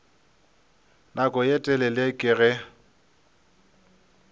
nako ye telele ke ge